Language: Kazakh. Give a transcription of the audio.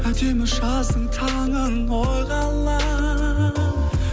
әдемі жаздың таңын ойға алам